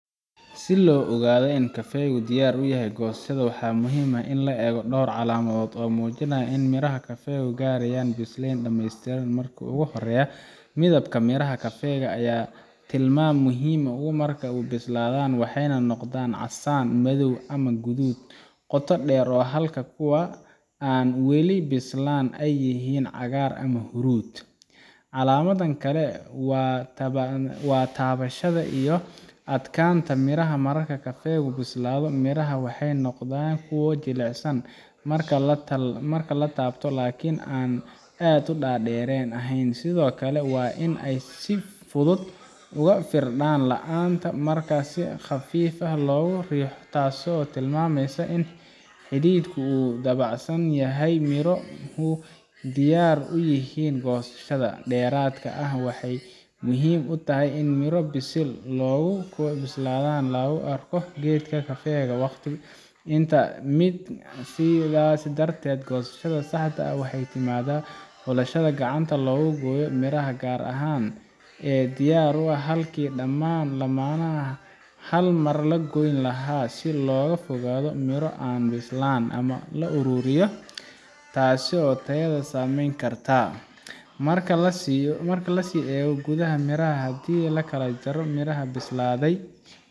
si loo ogaado in kafeegu diyaar u yahay goosashada waxaa muhiim ah in la eego dhowr calaamadood oo muujinaya in miro kafeega ay gaarayaan biseyl dhamaystiran marka ugu horreysa midabka miraha kafeega ayaa tilmaam muhiim ah marka ay bislaadaan waxay noqdaan casaan madow ama guduud qoto dheer halka kuwa aan weli bislaan ay yihiin cagaar ama huruud calaamad kale waa taabashada iyo adkaanta miraha marka kafeegu bislaado miraha waxay noqonayaan kuwo jilicsan marka la taabto laakiin aan aad u dareere ahayn sidoo kale waa in ay si fudud uga firdhaan laanta marka si khafiif ah loogu riixo taasoo tilmaamaysa in xididku uu dabacsan yahay oo miruhu diyaar u yihiin goosasho dheeraad ahaan waxay muhiim tahay in miro bisil iyo kuwo bislaan la’ lagu arko geedka kafeega waqti isku mid ah sidaas darteed goosashada saxda ah waxay ku timaadaa xulasho gacanta lagu gooyo miraha gaar ah ee diyaar ah halkii dhammaan laamaha hal mar loo goyn lahaa si looga fogaado in miro aan bislaan la aruuriyo taasoo tayada saameyn karta marka la sii eego gudaha miraha haddii la kala jaro midhaha bislaaday